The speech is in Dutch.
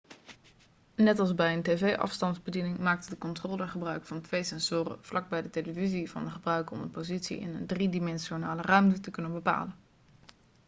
net als bij een tv-afstandsbediening maakt de controller gebruik van twee sensoren vlak bij de televisie van de gebruiken om de positie in een driedimensionale ruimte te kunnen bepalen